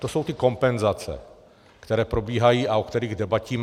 To jsou ty kompenzace, které probíhají a o kterých debatíme.